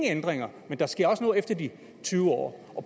ændringer men der sker noget efter de tyve år